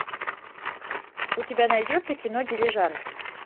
у тебя найдется кино дилижанс